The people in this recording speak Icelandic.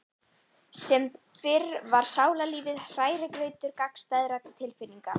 Sem fyrr var sálarlífið hrærigrautur gagnstæðra tilfinninga.